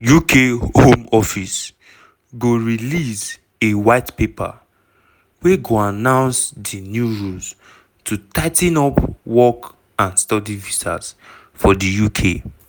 uk home office go release a white paper wey goannounce di new rules to tigh ten upwork and study visas for di uk.